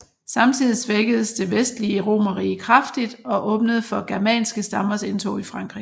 Samtidig svækkedes det vestlige romerrige kraftigt og åbnede for germanske stammers indtog i Frankrig